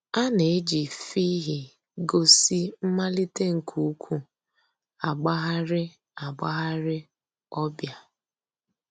A nà-èjì fhịhị gósì mmàlítè nke ǔ́kwụ̀ àgbàghàrì àgbàghàrì ọ̀ bịa.